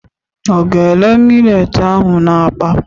Ọ ga-ere milet ahụ n'akpa?